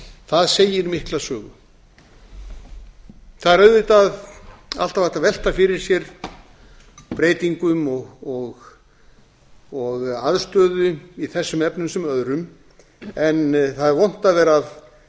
það segir mikla sögu það er auðvitað alltaf hægt að velta fyrir sér breytingum og aðstöðu í þessum efnum sem öðrum en það er vont að gera að